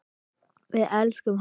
Við elskum hana.